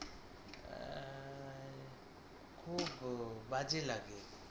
খুব বাজে লাগে,